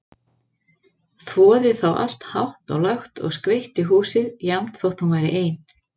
Þvoði þá allt hátt og lágt og skreytti húsið, jafnt þótt hún væri ein.